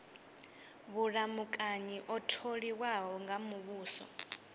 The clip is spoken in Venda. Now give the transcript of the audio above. vhulamukanyi o tholiwaho nga muvhuso